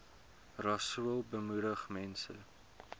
rasool moedig mense